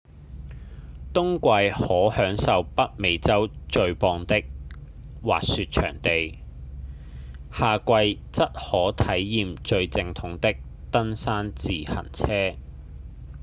冬季可享受北美洲最棒的滑雪場地夏季則可體驗最正統的登山自行車